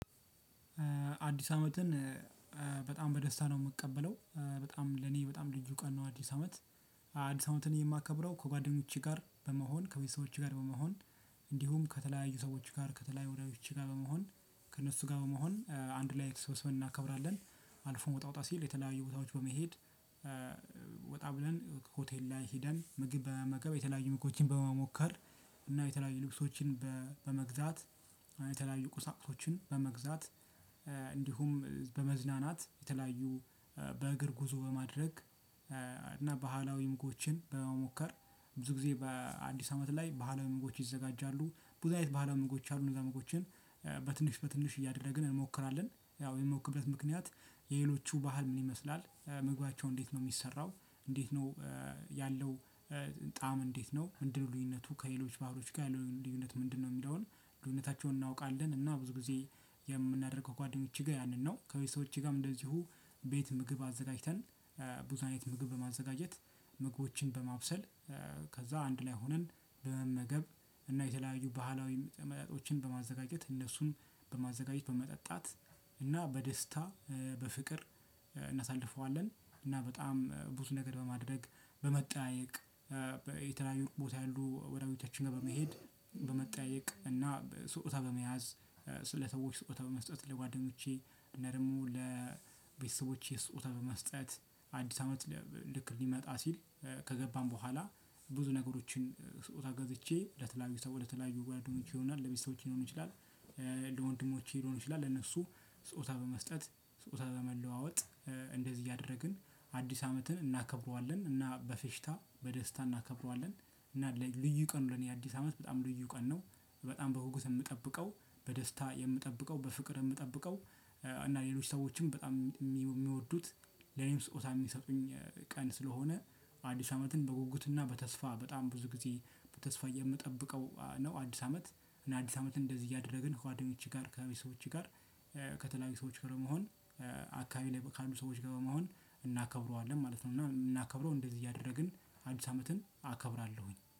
አዲስ አመትን በጣም በደስታ ነው የምቀበለው በጣም ለኔ በጣም ልዩ ቀን ነው። አዲስ አመት አዲስ አመትን የማከብረው ከጓደኞቼ ጋር በመሆን ከቤተሰቦቼ ጋር በመሆን እንዲሁም ከተለያዩ ሰዎች ጋር ከተለያዩ ወዳጆቼ ጋር በመሆን ከእነሱ ጋር በመሆን አንድ ላይ ተሰብስበን እናከብራለን። አልፎም ወጣ ወጣ ሲል የተለያዩ ቦታዎች በመሄድ። ወጣ ብለን ሆቴል ላይ ሄደን ምግብ በመመገብ የተለያዩ ምግቦችን በመሞከር እና የተለያዩ ልብሶችን በመግዛት የተለያዩ ቁሳቁሶችን በመግዛት እንዲሁም በመዝናናት የተለያዩ በእግር ጉዞ በማድረግ። እና ባህላዊ ምግቦችን በመሞከር ብዙ ጊዜ በአዲስ አመት ላይ ባህላዊ ምግቦች ይዘጋጃሉ። ብዙ አይነት ባህላዊ ምግቦች አሉ እነዛ ምግቦችን በትንሽ በትንሽ እያደረግን እንሞክራለን። ያው የምንሞክርበት ምክንያት የሌሎቹ ባህል ምን ይመስላል ምግባቸው እንዴት ነው የሚሰራው? እንዴት ነው ያለው? ጣዕም እንዴት ነው ምንድን ልዩነቱ ከሌሎች ባህሎች ጋር ያለው ልዩነት ምንድነው የሚለውን? ልዩነታቸውን እናውቃለን። እና ብዙ ጊዜ የምናደርገው ከጓደኞቼ ጋር ያንን ነው ከቤተሰቦቼ ጋርም እንደዚሁ ቤት ምግብ አዘጋጅተን ብዙ አይነት ምግብ በማዘጋጀት ምግቦችን በማብሰል። ከዛ አንድ ላይ ሆነን በመመገብ እና የተለያዩ ባህላዊ መጠጦችን በማዘጋጀት እነሱን በማዘጋጀት በመጠጣት እና በደስታ በፍቅር እናሳልፈዋለን። በጣም ብዙ ነገር በማድረግ በመጠያየቅ የተለያዩ ቦታ ያሉ ወዳጆቻችን ጋር በመሄድ በመጠያየቅ እና ስጦታ በመያዝ ለሰዎች ስጦታ በመስጠት ለጓደኞቼ እና ደግሞ ለቤተሰቦቼ ስጦታ በመስጠት። አዲስ አመት ልክ ሊመጣ ሲል ከገባም በኋላ ብዙ ነገሮችን ስጦታ ገዝቼ ለተለያዩ ሰዎች ለተለያዩ ጓደኞቼ ይሆናል ለቤተሰቦቼ ሊሆን ይችላል። ለወንድሞቼ ሊሆን ይችላል ለእነሱ ስጦታ በመስጠት ስጦታ በመለዋወጥ እንደዚህ እያደረግን አዲስ አመትን እናከብረዋለን እና በፌሽታ በደስታ እናከብረዋለን። እና ልዩ ቀን ነው ለኔ አዲስ አመት በጣም ልዩ ቀን ነው። በጣም በጉጉት የምጠብቀው በደስታ የምጠብቀው በፍቅር የምጠብቀው እና ሌሎች ሰዎችም በጣም የሚወዱት ለኔም ስጦታ የሚሰጡኝ ቀን ስለሆነ። አዲስ አመትን በጉጉትና በተስፋ በጣም ብዙ ጊዜ በተስፋ የምጠብቀው ነው። አዲስ አመት እና አዲስ አመትን እንደዚህ እያደረግን ከጓደኞች ጋር ከቤተሰቦቼ ጋር ከተለያዩ ሰዎች ጋር መሆን አካባቢዬ ካሉ ሰዎች ጋር በመሆን እናከብረዋለን ማለት ነው። እና የምናከብረው እንደዚህ እያደረግን አዲስ አመትን አከብራለሁኝ